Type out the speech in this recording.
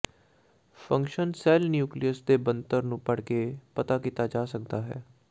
function cell nucleus ਦੇ ਬਣਤਰ ਨੂੰ ਪੜ੍ਹ ਕੇ ਪਤਾ ਕੀਤਾ ਜਾ ਸਕਦਾ ਹੈ